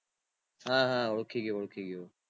હા હા ઓળખી ગયો ઓળખી ગયો